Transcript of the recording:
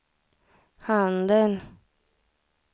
handen